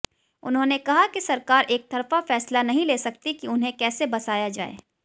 उन्होंने कहा कि सरकार एकतरफा फैसला नहीं ले सकती कि उन्हें कैसे बसाया जाए